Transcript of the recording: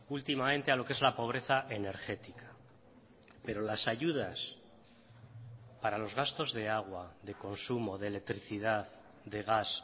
últimamente a lo que es la pobreza energética pero las ayudas para los gastos de agua de consumo de electricidad de gas